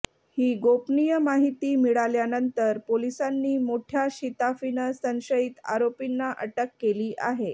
ही गोपनीय माहिती मिळाल्यानंतर पोलिसांनी मोठ्या शिताफीनं संशयित आरोपींना अटक केली आहे